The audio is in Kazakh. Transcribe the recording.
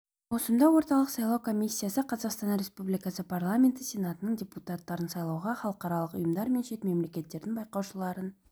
маусымда орталық сайлау комиссиясы қазақстан республикасы парламенті сенатының депутаттарын сайлауға халықаралық ұйымдар мен шет мемлекеттердің байқаушыларын